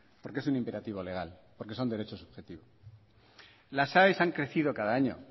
porque es un imperativo legal porque son derechos objetivos las aes han crecido cada año